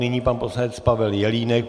Nyní pan poslanec Pavel Jelínek.